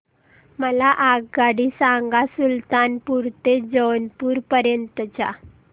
मला आगगाडी सांगा सुलतानपूर ते जौनपुर पर्यंत च्या